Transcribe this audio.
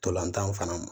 Ntolantan fana